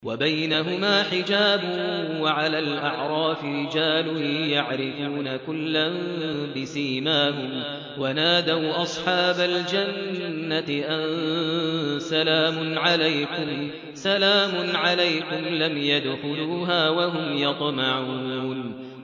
وَبَيْنَهُمَا حِجَابٌ ۚ وَعَلَى الْأَعْرَافِ رِجَالٌ يَعْرِفُونَ كُلًّا بِسِيمَاهُمْ ۚ وَنَادَوْا أَصْحَابَ الْجَنَّةِ أَن سَلَامٌ عَلَيْكُمْ ۚ لَمْ يَدْخُلُوهَا وَهُمْ يَطْمَعُونَ